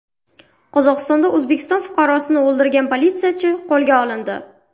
Qozog‘istonda O‘zbekiston fuqarosini o‘ldirgan politsiyachi qo‘lga olindi.